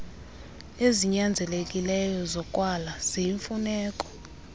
ezinyanzelekileyo zokwala ziyimfuneko